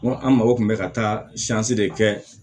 an mago kun bɛ ka taa de kɛ